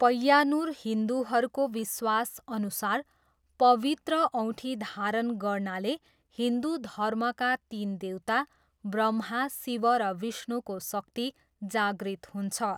पय्यान्नुर हिन्दुहरूको विश्वासअनुसार, पवित्र औँठी धारण गर्नाले हिन्दु धर्मका तिन देवता, ब्रह्मा, शिव र विष्णुको शक्ति जागृत हुन्छ।